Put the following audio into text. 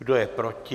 Kdo je proti?